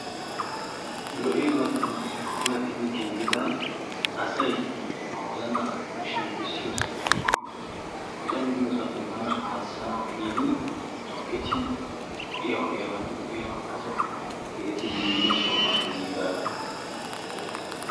Lo'iyabatun puulaatidi giigida asay ba wozana shemppisiyo sohoy woykko woccami de'iyosape bana hasanawu gidi tukketi, ho'iya ho'iyabati uyanawu asawu keehippe gigida sohuwa gigidaga.